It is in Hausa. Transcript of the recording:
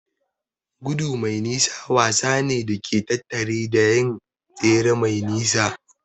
Gudu mai nisa wasa ne da ke tattare da yin tsere mai nisa.